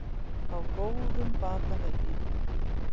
Á góðum batavegi